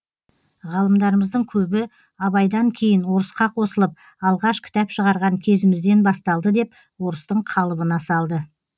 ғалымдарымыздың көбі абайдан кейін орысқа қосылып алғаш кітап шығарған кезімізден басталды деп орыстың қалыбына салды